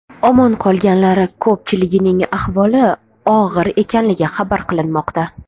Omon qolganlar ko‘pchiligining ahvoli og‘ir ekanligi xabar qilinmoqda.